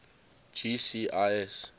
gcis